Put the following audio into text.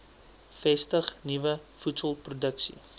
vestig nuwe voedselproduksie